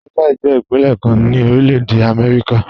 Texas jẹ ipinlẹ̀ kan ni Orílẹ̀-èdè Amẹ́ríkà.